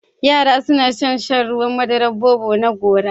Yara suna son shan Ruwan madaran Bobo na gora.